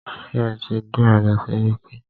Ṣé ẹ tí dé ọ̀dọ̀ sẹ́ríkí?